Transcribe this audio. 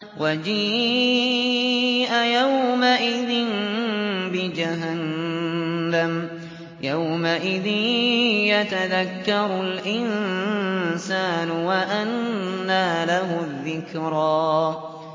وَجِيءَ يَوْمَئِذٍ بِجَهَنَّمَ ۚ يَوْمَئِذٍ يَتَذَكَّرُ الْإِنسَانُ وَأَنَّىٰ لَهُ الذِّكْرَىٰ